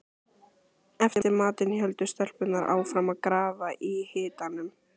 Eftir matinn héldu stelpurnar áfram að grafa í hitanum.